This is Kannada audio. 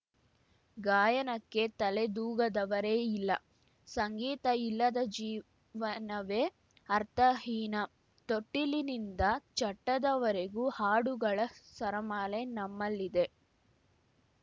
ಗಾಯನಕ್ಕೆ ತಲೆದೂಗದವರೇ ಇಲ್ಲ ಸಂಗೀತ ಇಲ್ಲದ ಜೀವನವೇ ಅರ್ಥಹೀನ ತೊಟ್ಟಿಲಿನಿಂದ ಚಟ್ಟದವರೆಗೂ ಹಾಡುಗಳ ಸರಮಾಲೆ ನಮ್ಮಲ್ಲಿದೆ